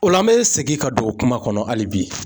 O la an bɛ segin ka don kuma kɔnɔ hali bi